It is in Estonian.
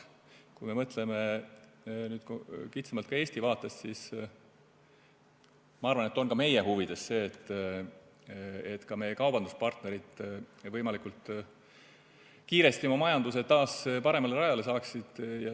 Kui me mõtleme kitsamalt, ka Eesti vaates, siis ma arvan, et ka meie huvides on see, et meie kaubanduspartnerid võimalikult kiiresti oma majanduse taas paremale rajale saaksid.